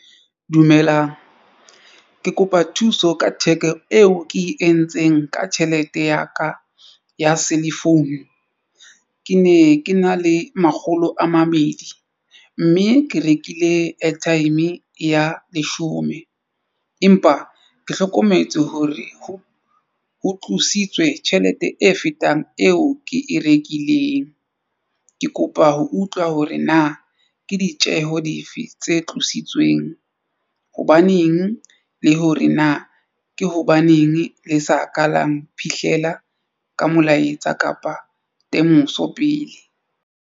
Dumelang, ke kopa thuso ka theko eo ke e entseng ka tjhelete ya ka ya cellphone. Ke ne ke na le makgolo a mabedi mme ke rekile airtime ya leshome empa ke hlokometse hore ho tlositswe tjhelete e fetang eo ke e rekileng. Ke kopa ho utlwa hore na ke ditjeho di fe tse tlositsweng hobaneng le hore na ke hobaneng le sa ka la mphihlela ka molaetsa kapa temoso pele.